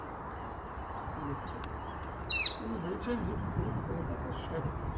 লেখাটা উনি বলছেন যে এই কলকাতা শহর